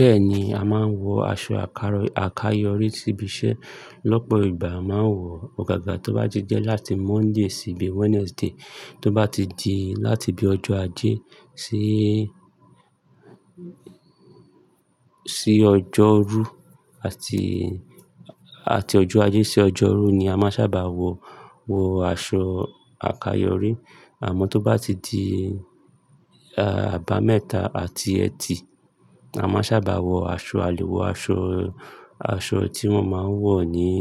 Bẹ́ẹ̀ni, a máa ń wọ aṣọ àkayọrí ṣíbíṣẹ́. Lọ́pọ̀ ìgbà a máa ń wọ ọ̀gaga tó bá ti jẹ́ láti Monday síbi Wednesday, tó bá ti di láti bi ọjọ́ ajé síí, sí ọjọ́rú àti, àti ọjọ́ ajé sí ọjọ́rú ni a máa sábà wọ, wọ aṣọ àkayọrí. Àmọ́ tó bá ti di àba mẹ́ta àti ẹtì, a má sábà wọ aṣọ àlè, wọ aṣọ, aṣọ tí wọ́n máa ń wọ níí,